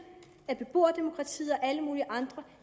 at beboerdemokratiet og alle mulige andre